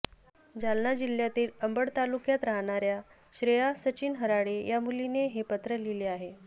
जालना जिल्ह्यातील अंबड तालुक्यात राहणाऱ्या श्रेया सचिन हराळे या मुलीने हे पत्र लिहिलं आहे